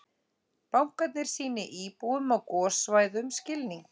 Bankarnir sýni íbúum á gossvæðum skilning